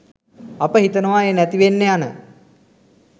අපි හිතනවා ඒ නැතිවෙන්න යන